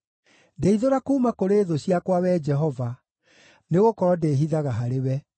Ndeithũra kuuma kũrĩ thũ ciakwa, Wee Jehova, nĩgũkorwo ndĩĩhithaga harĩwe.